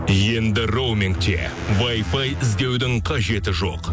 енді роумингте вайфай іздеудің қажеті жоқ